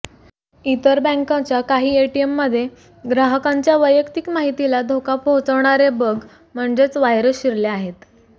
इतर बँकांच्या काही एटीएममध्ये ग्राहकांच्या वैयक्तिक माहितीला धोका पोहचवणारे बग म्हणजेच व्हायरस शिरले आहेत